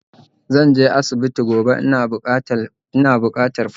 Zanje asibiti gobe, ina bukatar paracetamol